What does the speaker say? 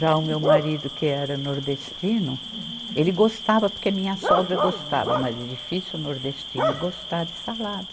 Já o meu marido, que era nordestino, ele gostava, porque minha sogra gostava, mas é difícil nordestino gostar de salada.